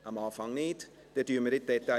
– Dies ist nicht der Fall.